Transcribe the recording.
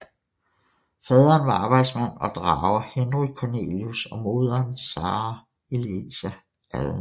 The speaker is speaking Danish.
Faderen var arbejdsmand og drager Henry Cornelius og moderen Sarah Eliza Allen